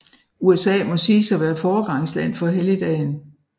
USA må siges at være foregangsland for helligdagen